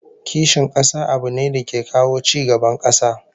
Kishin kasa abu ne da ke kawo ci gaban kasa